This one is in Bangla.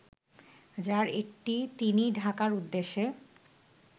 যার একটি তিনি ঢাকার উদ্দেশে